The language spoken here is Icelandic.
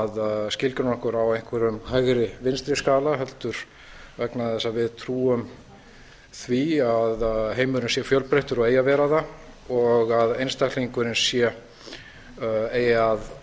að skilgreina okkur á einhverjum hægri vinstri skala heldur vegna þess að við trúum því að heimurinn sé fjölbreyttur og eigi að vera það og einstaklingurinn eigi